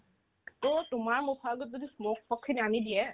তোমাৰ মুখত যদি smoke পক্ষে নামি দিয়ে